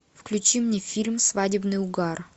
включи мне фильм свадебный угар